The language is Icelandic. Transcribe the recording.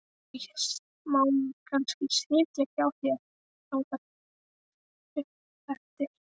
Má ég kannski sitja í hjá þér þangað upp eftir?